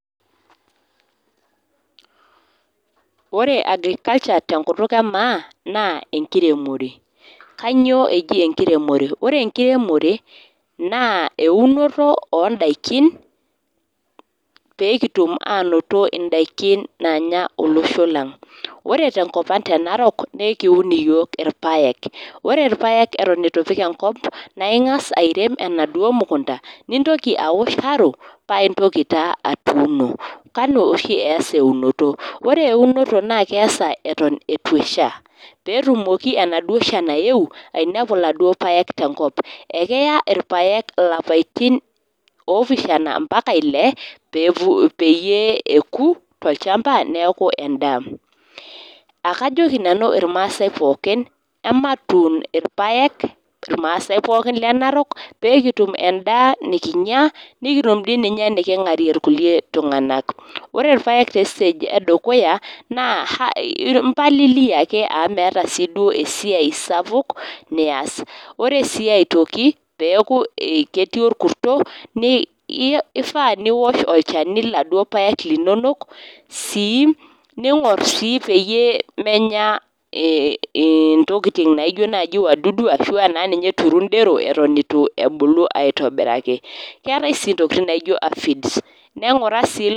Ore agriculture tenkutuk emaa, naa enkiremore. Kainyoo eji enkiremore? Ore enkiremore naa eunuto oondaiki pee kutum aanoto indaiki naanya olosho lang. Ore tenkop ang te Narok naa ekiun iyook irpayek. Ore irpayek etoon eitu ipik enkop naa ingas airem enaduoo mukunta nintoki ashow arro paa intoki taa atuuno. Kanu oshi easa eunoto. Ore eunoto naa keasa eton eitu esha pee etumoki enaduo shan ayeu ainepu iladuo payek tenkop. Ekeya irpayek ilapaitin oopishiana mpaka ile peeyie eku olchamba neaku endaa. Akajoki nanu irmaasai pooki ematuun irpayek naa irmaasai pooki lenarok peekitum endaa nikinyia nikitum doi ninye enikingarrie ilkulikae tunganak. Ore irpayek te sitage edukuya naa impalilia ake amu .eeta sii duo esiai sapuk nias. Ore sii aitoki peeku ketii orkurto keifaa niwosh olchani iladuo payek linonok. Ningor sii peemenya intokitin naijo naaji wadudu ashuu eturu ndero eton ebulu aitobiraki. Keetai sii ntokitin naijio afids naa engura sii